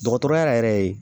Dɔgɔtɔrɔya yɛrɛ ye